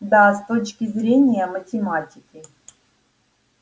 да с точки зрения математики